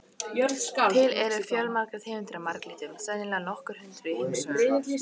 Til eru fjölmargar tegundir af marglyttum, sennilega nokkur hundruð í heimshöfunum.